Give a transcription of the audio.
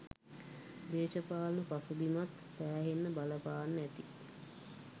දේශපාලන පසුබිමත් සෑහෙන්න බලපාන්න ඇති.